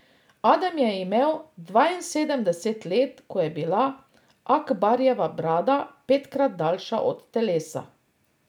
Adem je imel dvainsedemdeset let, ko je bila Akbarjeva brada petkrat daljša od telesa.